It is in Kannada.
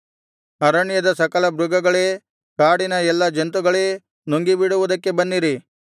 ಅರಣ್ಯದ ಸಕಲ ಮೃಗಗಳೇ ಕಾಡಿನ ಎಲ್ಲಾ ಜಂತುಗಳೇ ನುಂಗಿಬಿಡುವುದಕ್ಕೆ ಬನ್ನಿರಿ